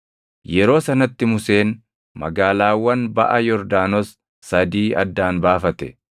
Yeroo sanatti Museen magaalaawwan baʼa Yordaanos sadii addaan baafate;